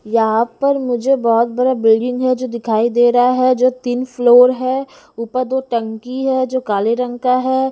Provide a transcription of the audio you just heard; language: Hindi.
यहां पर मुझे बहुत बड़ा बिल्डिंग है जो दिखाई दे रहा है जो तीन फ्लोर है ऊपर दो टंकी है जो काले रंग का है।